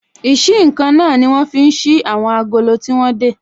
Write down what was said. Ìsí-nǹkan náà ní wọ́n fi ń ṣí àwọn agolo tí wọ́n dè